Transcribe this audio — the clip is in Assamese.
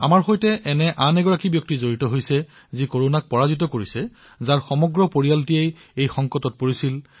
আমাৰ সৈতে এনে আৰু এজন সতীৰ্থ আছে যিয়ে কৰনাক পৰাজিত কৰিছে আৰু তেওঁৰ গোটেই পৰিয়ালেই এই সংকটত জৰ্জৰিত হৈছিল